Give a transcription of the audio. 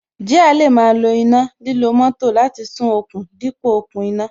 Jíà lè máa lo iná, lílo moto láti sún okùn dípò okùn iná